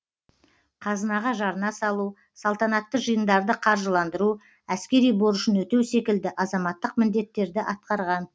қазынаға жарна салу салтанатты жиындарды қаржыландыру әскери борышын өтеу секілді азаматтық міндеттерді атқарған